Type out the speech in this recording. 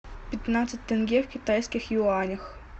пятнадцать тенге в китайских юанях